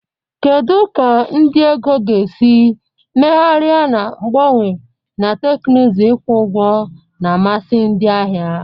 Kedu ka ndị ego ga-esi megharia na mgbanwe na teknụzụ ịkwụ ụgwọ na mmasị ndị ahịa?